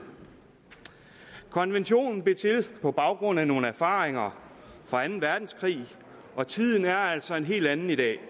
konventionen blev til på baggrund af nogle erfaringer fra anden verdenskrig og tiden er altså en helt anden i dag